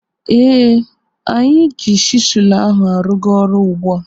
Eh, anyị ji chisụlụ ahụ arụga ọrụ ugbua.